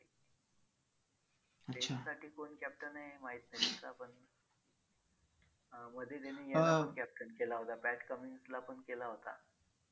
oneday साठी कोण captain आहे माहित नाही पण अं मध्ये त्यांनी याला पण captain केला होता pat cummins ला पण केला होता.